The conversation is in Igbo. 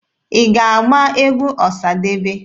Ị ga-agba egwu Ọsadebe?